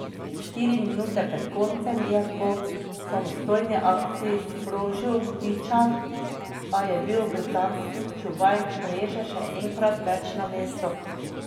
Štiri minute pred koncem je po samostojni akciji sprožil Tičar, a je bil britanski čuvaj mreže še enkrat več na mestu.